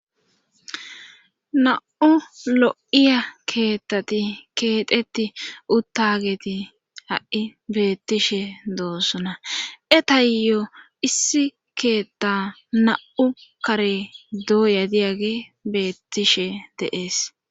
na'u lo'iya keettati keeteti uttageti ha'i beettishe doossona e tayyo issi keetta na'u kare dooya diyage beettishe de'ees